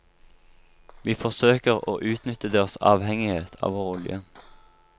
Vi forsøker å utnytte deres avhengighet av vår olje.